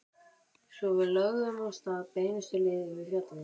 Svo við lögðum af stað beinustu leið yfir fjallið.